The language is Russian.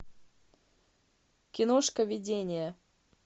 киношка видение